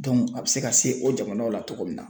a bi se ka se o jamanaw la cogo min na.